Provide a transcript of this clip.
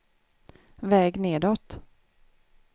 väg nedåt